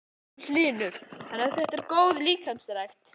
Magnús Hlynur: Þannig þetta er góð líkamsrækt?